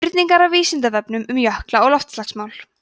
spurningar af vísindavefnum um jökla og loftslagsmál